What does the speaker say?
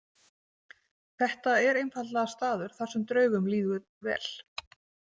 Þetta er einfaldlega staður þar sem draugum líður vel.